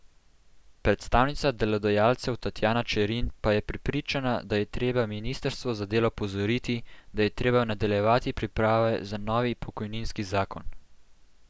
Predstavnica delodajalcev Tatjana Čerin pa je prepričana, da je treba ministrstvo za delo opozoriti, da je treba nadaljevati priprave za novi pokojninski zakon.